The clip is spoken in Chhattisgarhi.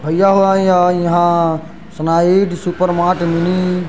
भाई-हाई-हाई-हा सोनाइद सुपर मार्ट मिनी --